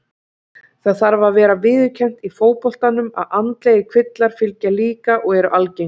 Það þarf að vera viðurkennt í fótboltanum að andlegir kvillar fylgja líka og eru algengir.